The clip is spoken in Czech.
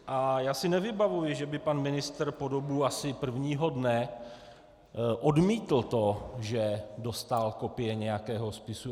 A já si nevybavuji, že by pan ministr po dobu asi prvního dne odmítl to, že dostal kopie nějakého spisu.